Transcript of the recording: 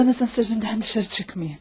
Ablanızın sözündən dışarı çıxmayın.